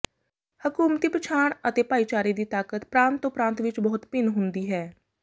ਹਕੂਮਤੀ ਪਛਾਣ ਅਤੇ ਭਾਈਚਾਰੇ ਦੀ ਤਾਕਤ ਪ੍ਰਾਂਤ ਤੋਂ ਪ੍ਰਾਂਤ ਵਿੱਚ ਬਹੁਤ ਭਿੰਨ ਹੁੰਦੀ ਹੈ